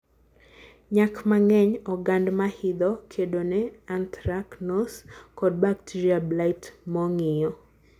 Nyak Mangeny, ogand mahidho, kedo ne anthracnose kod baterial blight mongiyo.